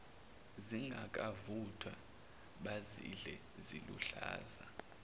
zingakavuthwa bazidle ziluhlaza